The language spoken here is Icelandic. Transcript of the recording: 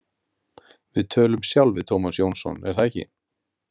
Við tölum sjálf við Tómas Jónsson, er það ekki?